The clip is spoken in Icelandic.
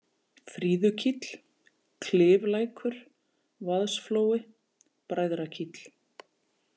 Fríðukíll, Kliflækur, Vaðsflói, Bræðrakíll